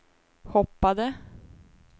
hoppade